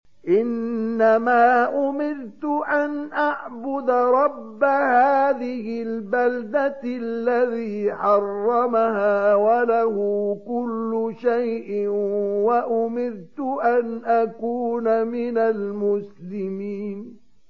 إِنَّمَا أُمِرْتُ أَنْ أَعْبُدَ رَبَّ هَٰذِهِ الْبَلْدَةِ الَّذِي حَرَّمَهَا وَلَهُ كُلُّ شَيْءٍ ۖ وَأُمِرْتُ أَنْ أَكُونَ مِنَ الْمُسْلِمِينَ